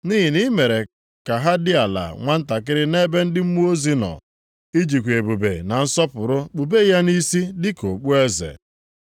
Nʼihi na i mere ka ha dị ala nwantakịrị nʼebe ndị mmụọ ozi nọ; i jikwa ebube na nsọpụrụ kpube ya nʼisi dịka okpueze,